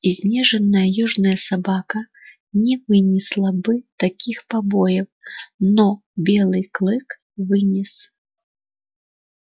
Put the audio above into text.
изнеженная южная собака не вынесла бы таких побоев но белый клык вынес